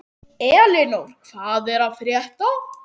Elinór, hvað er að frétta?